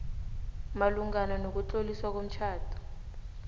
malungana nokutloliswa komtjhado